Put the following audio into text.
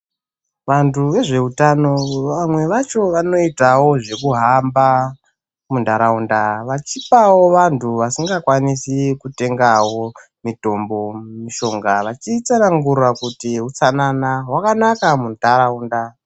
Vanhtu vezveutano vamwe vacho vanoitawo zvekuhamba munhtaraunda vachipawo vanhtu vasingakwanisi kutengawo mitombo mishonga vachitsanangura kuti utsanana hwakanaka munhtaraunda.